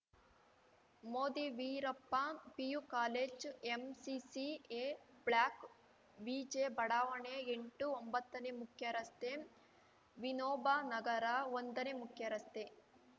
Moti Veerappa PU college MCC A block ಪಿಜೆಬಡಾವಣೆ ಎಂಟು ಒಂಬತ್ತನೇ ಮುಖ್ಯರಸ್ತೆ ವಿನೋಬ ನಗರ ಒಂದನೇ ಮುಖ್ಯರಸ್ತೆ